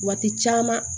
Waati caman